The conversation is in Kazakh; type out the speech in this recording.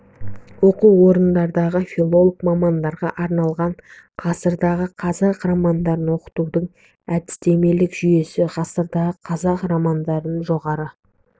оқу орындарындағы филолог мамандарға арналған ғасырдағы қазақ романдарын оқытудың әдістемелік жүйесі ғасырдағы қазақ романдарын жоғары